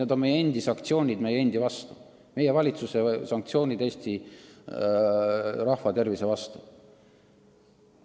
Asi on meie endi sanktsioonides meie oma rahva vastu, meie valitsuse sanktsioonides, mis kahjustavad Eesti rahva tervist.